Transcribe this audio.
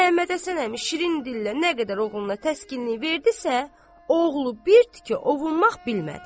Məmmədhəsən əmi şirin dillə nə qədər oğluna təskinlik verdizə, oğlu bir tikə ovunmaq bilmədi.